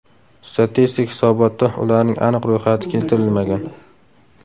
Statistik hisobotda ularning aniq ro‘yxati keltirilmagan.